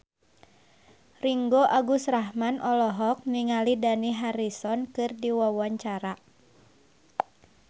Ringgo Agus Rahman olohok ningali Dani Harrison keur diwawancara